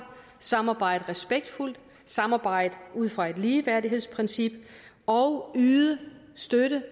samarbejde respektfuldt og samarbejde ud fra et ligeværdighedsprincip og at yde støtte